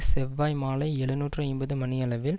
செவ்வாய் மாலை எழுநூற்று ஐம்பது மணியளவில்